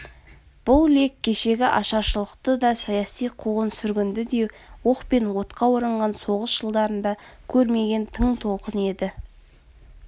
бұл лек кешегі ашаршылықты да саяси куғын-сүргінді де оқ пен отқа оранған соғыс жылдарында көрмеген тың толқын еді